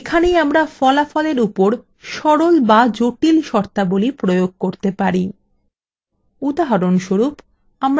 এখানেই আমরা ফলাফলের উপর সরল বা জটিল শর্তাবলী প্রয়োগ করতে পারি